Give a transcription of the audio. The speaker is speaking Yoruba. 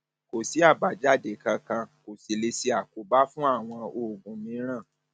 kò sí àbájáde kankan kò sí lè ṣe àkóbá fún àwọn oògùn mìíràn